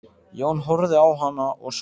Jón horfði á hana og svaraði